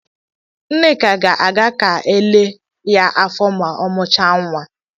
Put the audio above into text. Nneka ga-aga ka elee ya afọ ma ọ mụchaa nwa.